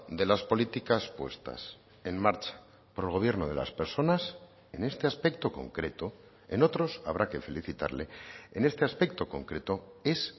de las políticas puestas en marcha por el gobierno de las personas en este aspecto concreto en otros habrá que felicitarle en este aspecto concreto es